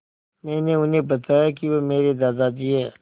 मैंने उन्हें बताया कि वह मेरे दादाजी हैं